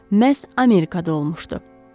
Məhz Amerikada olmuşdu.